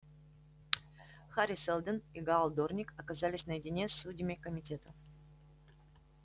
хари сэлдон и гаал дорник оказались наедине с судьями комитета